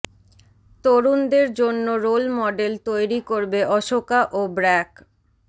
তরুণদের জন্য role model তৈরি করবে অশোকা ও ব্র্যাক